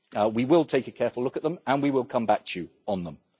We will take a careful look at them and we will come back to you on them.